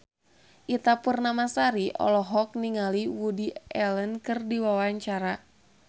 Ita Purnamasari olohok ningali Woody Allen keur diwawancara